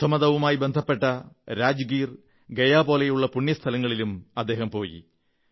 ബുദ്ധമതവുമായി ബന്ധപ്പെട്ട രാജ്ഗീർ ഗയ പോലുള്ള പുണ്യസ്ഥലങ്ങളിലും പോയി